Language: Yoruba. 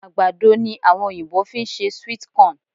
Àgbàdo ni àwọn Oyìnbó fi ń ṣe sweet corn